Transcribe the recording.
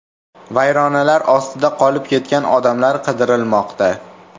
Vayronalar ostida qolib ketgan odamlar qidirilmoqda.